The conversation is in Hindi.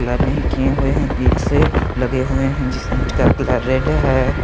कलर नहीं किए हुए हैं ईंट से लगे हुए हैं जिस ईंट का कलर रेड है।